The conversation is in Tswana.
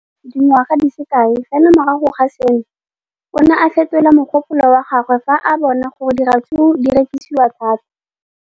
Le fa go le jalo, dingwaga di se kae fela morago ga seno, o ne a fetola mogopolo wa gagwe fa a bona gore diratsuru di rekisiwa thata.